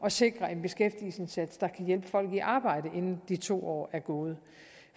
at sikre en beskæftigelsesindsats der kan hjælpe folk i arbejde inden de to år er gået